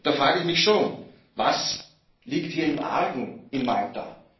Da frage ich mich schon Was liegt hier im Argen in Malta?